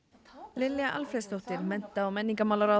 Lilja Alfreðsdóttir mennta og menningarmálaráðherra